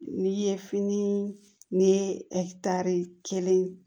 N'i ye fini ni kelen